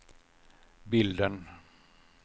bilden